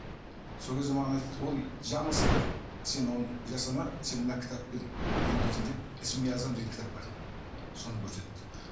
сол кезде маған айтады ол жаңылысты сен оны жасама сен мына кітаппен емдейсің деп ісмиазам деген кітап бар соны көрсетті